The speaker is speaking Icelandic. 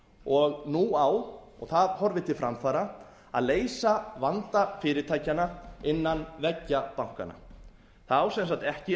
og nú á og það horfir til framfara að leysa vanda fyrirtækjanna innan veggja bankanna það á sem sagt ekki